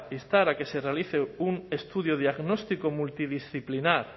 instar a que se realice un estudio diagnóstico multidisciplinar